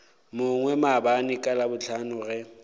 mongwe maabane ka labohlano ge